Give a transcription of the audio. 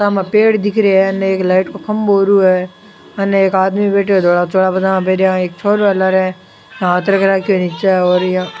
साम पेड़ दिख रा है अन एक लाइट को खम्भों ओरु है उनने एक आदमी बैठ्या धोला पजामा पैरा एक छोरो है लार हाथ रख रखो है नीच और इया --